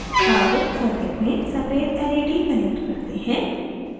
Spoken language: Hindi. अब circuit में सफ़ेद led connect करते हैं